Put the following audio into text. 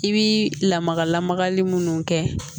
I bi lamaga lamagali munnu kɛ